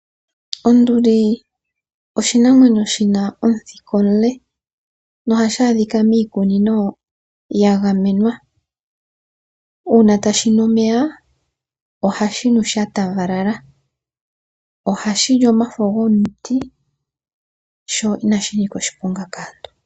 Onduli oshinamwenyo shi na omuthika omule nohashi adhika miikunino ya gamenwa. Uuna tashi nu omeya ohashi nu sha paganyana. Ohashi li omafo gomuti sho inashi nika oshiponga kaantu.